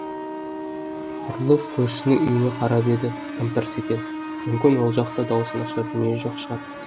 бұрылып көршісінің үйіне қарап еді тым тырыс екен мүмкін ол жақта даусын ашар дүние жоқ шығар